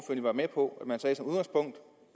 vil være med på